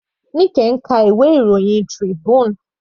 Nike ń ka ìwé ìròyìn Tribune.